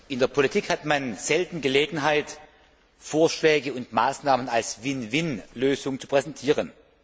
In der Politik hat man selten Gelegenheit, Vorschläge und Maßnahmen als Win win Lösung zu präsentieren.